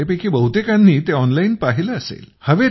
तुमच्यापैकी बहुतेकांनी ते ऑनलाइन पाहिले असेल